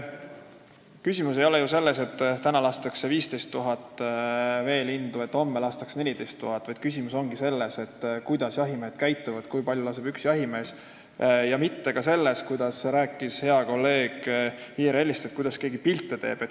Küsimus ei ole ju selles, et täna lastakse 15 000 veelindu ja homme 14 000, vaid küsimus on selles, kuidas jahimehed käituvad, kui palju laseb üks jahimees, ja mitte ka selles, nagu rääkis hea kolleeg IRL-ist, et kuidas keegi pilte teeb.